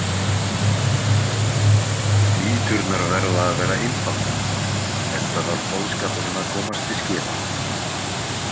Mýturnar verða að vera einfaldar enda þarf boðskapurinn að komast til skila.